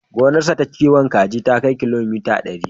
Gonarsa ta kiwon kaji ta kai kilomita ɗari.